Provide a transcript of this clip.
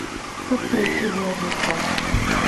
как пройти в лазертаг